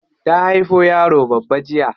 Ta haifo yaro babba jiya.